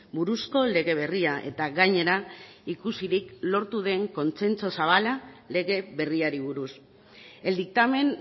buruzko lege berria eta gainera ikusirik lortu den kontzentzu zabala lege berriari buruz el dictamen